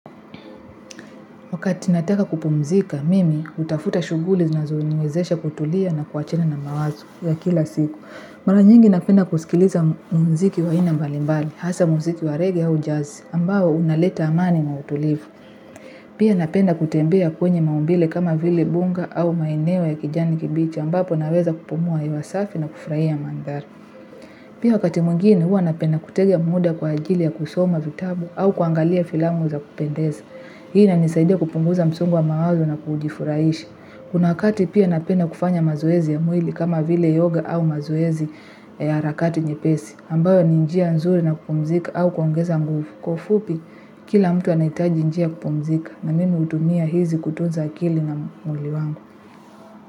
Wakati nataka kupumzika, mimi hutafuta shuguli zinazoniwezesha kutulia na kuwachana na mawazo ya kila siku. Mara nyingi napenda kusikiliza mziki wa aina mbalimbali, hasa mziki wa rege au jazz, ambao unaleta amani na utulivu. Pia napenda kutembea kwenye maumbile kama vile mbuga au maeneo ya kijani kibichi ambapo naweza kupumua hewa safi na kufurahia mandhari. Pia wakati mwingine huwa napenda kutega muda kwa ajili ya kusoma vitabu au kuangalia filamu za kupendeza. Hii na inisaidia kupunguza msongo wa mawazo na kujifurahisha. Kuna wakati pia napenda kufanya mazoezi ya mwili kama vile yoga au mazoezi ya harakati nyepesi. Ambayo ni njia nzuri na kupumzika au kuongeza nguvu kwa ufupi, kila mtu anahitaji njia kupumzika na mimi hutumia hizi kutunza akili na mwili wangu.